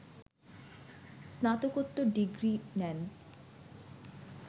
স্নাতকোত্তর ডিগ্রি নেন